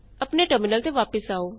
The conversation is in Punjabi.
ਆਪਣੇ ਟਰਮਿਨਲ ਤੇ ਵਾਪਸ ਆਉ